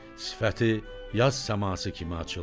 Sifəti yaz səması kimi açıldı.